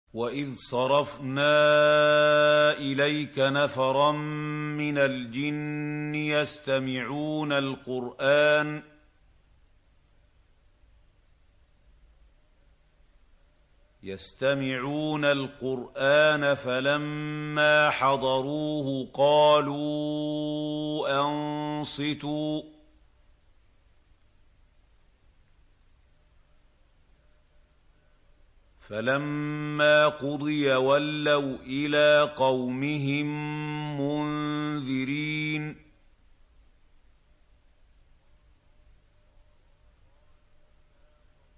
وَإِذْ صَرَفْنَا إِلَيْكَ نَفَرًا مِّنَ الْجِنِّ يَسْتَمِعُونَ الْقُرْآنَ فَلَمَّا حَضَرُوهُ قَالُوا أَنصِتُوا ۖ فَلَمَّا قُضِيَ وَلَّوْا إِلَىٰ قَوْمِهِم مُّنذِرِينَ